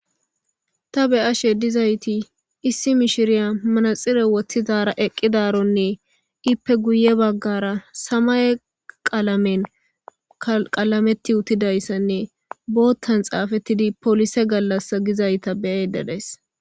Ta be'ashe dizayti issi mishiriya manaxire woththidara eqqidarone iipe guye baggara samaye qalamen qalameti uttidayssanne bootan xaafetidi polise gallasa gizayta be'ayda days .